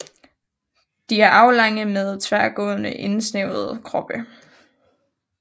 De er aflange med tværgående indsnævrede kroppe